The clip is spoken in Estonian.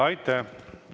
Aitäh!